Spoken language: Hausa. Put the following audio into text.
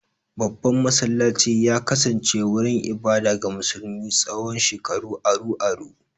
Babban masallacin ya kasance wurin ibada ga musulmi tsawon shekaru aru-aru.